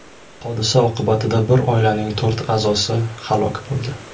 Hodisa oqibatida bir oilaning to‘rt a’zosi halok bo‘ldi.